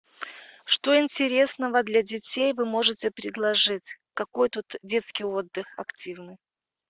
что интересного для детей вы можете предложить какой тут детский отдых активный